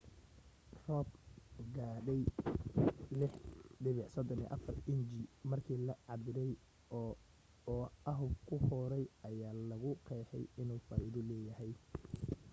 roob gaadhayay 6.34 inji markii la cabbiray oo oahu ku hooray ayaa lagu qeexay inuu faaiido leeyahay